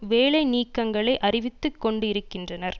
வேலை நீக்கங்களை அறிவித்து கொண்டு இருக்கின்றனர்